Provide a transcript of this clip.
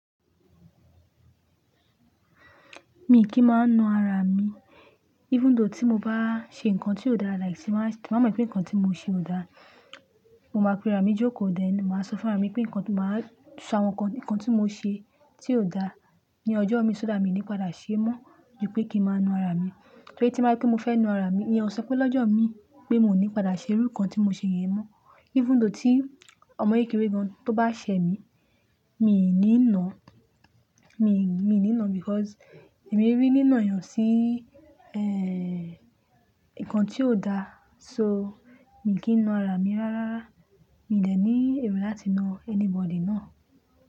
Mi kì í máa ń na ara mi. Even though tí mo bá ṣe nǹkan tí ò dára, like tí máa sì, máa mọ̀ pé nǹkan tí mo ṣe ò dára, mo máa pe ara mi jókòó dání, màá sọ fún ara mi pé nǹkan tí màá ṣọ àwọn nǹkan tí mo ṣe tí ò dára ní ọjọ́ mi, ṣọ́ dà mí ní padà ṣe ẹ́ mọ́ ju pé kí ń máa na ara mi. Torí tí máa ń pe mo fẹ́ na ara mi, ìyẹn ò sọ pé lọ́jọ́ mi pé mi ò ní padà ṣe irú nǹkan tí mo ṣe yẹn mọ́. Even though tí ọmọ ìkirè kan tó bá ṣẹ mi, mi ò ní nàá, mi, mi ò ní nàá because èmi rí nínà yàn sí, ehn, nǹkan tí ò dára. So, mi kì í na ara mi rárá. Mi dẹ̀ ní èrò láti na anybody náà.